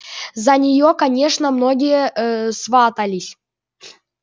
за нее конечно многие э сватались